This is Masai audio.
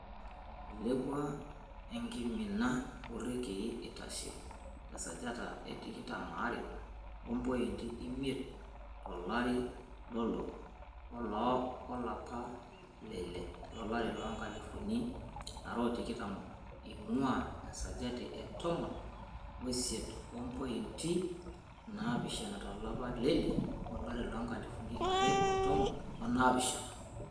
Ilepua eng'imina o irekei, eitashe tesajata e tikitam aare o mpointi imiet to lari lolo oloapa leile lolari loonkalifuni are o tikitam eing'ua esajati e tomon o isiet o mpointi naapishana to lapa leile olari loonkalifuni are o tomon onaapishana.